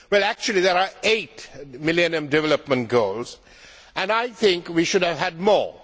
Well actually there are eight Millennium Development Goals, and I think we should have had more.